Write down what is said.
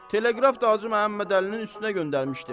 Teleqrafı da Hacı Məhəmməd Əlinin üstünə göndərmişdim.